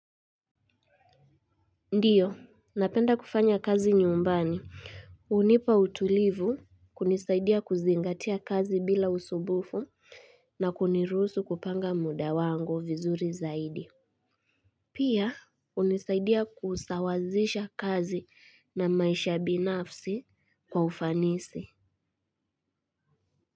Ndiyo, napenda kufanya kazi nyumbani. Hunipa utulivu kunisaidia kuzingatia kazi bila usumbufu na kuniruhusu kupanga muda wangu vizuri zaidi. Pia, unisaidia kusawazisha kazi na maisha binafsi kwa ufanisi.